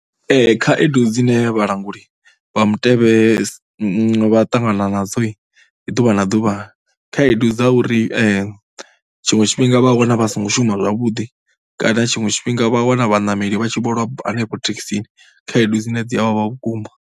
Khaedu dzine vhalanguli vha mutevhe vha ṱangana nadzoi ḓuvha na ḓuvha, ndi khaedu dza uri tshiṅwe tshifhinga vha wana vha songo shuma zwavhuḓi kana tshiṅwe tshifhinga vha wana vhaṋameli vha tshi vho lwa hanefho thekhisini khaedu dzine dzi a vhavha vhukuma.